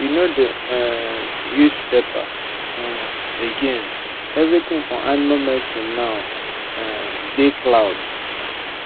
we no dey um use paper um again everything for animal medicine now um dey cloud